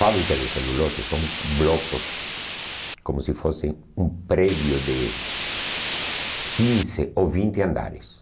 Fábrica de celulose são blocos, como se fosse um prédio de quinze ou vinte andares.